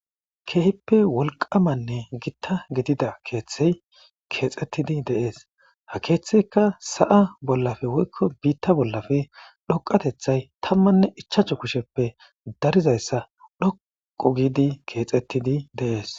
keehippe wolqamanne gitta gidida keeththey keexettidi deees ha keeththeyka sa7a bollafe woykko biitta bollafe dhoqatethay tammanne ichachu kusheppe darizayssa dhoqu giidi keexettidi de'es